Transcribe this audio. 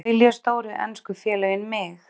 Vilja stóru ensku félögin mig?